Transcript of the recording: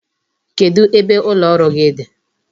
Kedu ebe ụlọ ọrụ gị dị?